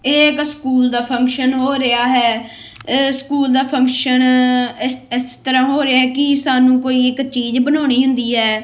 ਇਹ ਇੱਕ ਸਕੂਲ ਦਾ ਫੰਕਸ਼ਨ ਹੋ ਰਿਹਾ ਐ ਸਕੂਲ ਦਾ ਫੰਕਸ਼ਨ ਇਸ ਇਸ ਤਰ੍ਹਾਂ ਹੋ ਰਿਹਾ ਕਿ ਸਾਨੂੰ ਕੋਈ ਇੱਕ ਚੀਜ਼ ਬਣਾਉਣੀ ਹੁੰਦੀ ਐ।